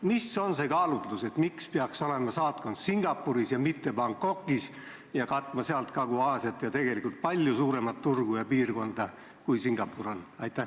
Mis kaalutlustel otsustati, et peaks olema saatkond Singapuris ja mitte Bangkokis, kust saaks katta Kagu-Aasiat ja tegelikult palju suuremat turgu ja piirkonda, kui Singapur on?